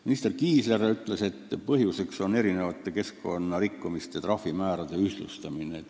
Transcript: Minister Kiisler ütles, et muudatuse põhjuseks on erinevate keskkonnanõuete rikkumise trahvimäärade ühtlustamine.